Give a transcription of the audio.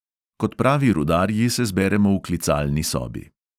Kot pravi rudarji se zberemo v klicalni sobi.